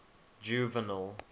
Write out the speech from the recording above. juvenal